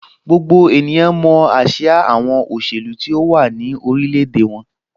Gbogbo ènìyàn mọ ásíá àwọn òṣèlú tó wà ní orilẹ̀-èdè wọn.